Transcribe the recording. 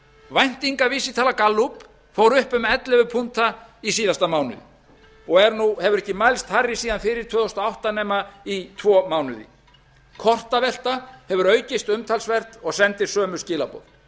væntingavísitala gallup fór upp um ellefu punkta í síðasta mánuði og hefur ekki mælst hærri síðan fyrir tvö þúsund og átta nema í tvo mánuði kortavelta hefur aukist umtalsvert og sendir sömu skilaboð